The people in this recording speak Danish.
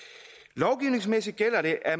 lovgivningsmæssigt gælder det at